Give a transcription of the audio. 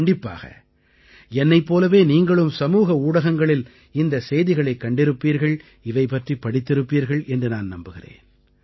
கண்டிப்பாக என்னைப் போலவே நீங்களும் சமூக ஊடகங்களில் இந்தச் செய்திகளைக் கண்டிருப்பீர்கள் இவை பற்றிப் படித்திருப்பீர்கள் என்று நான் நம்புகிறேன்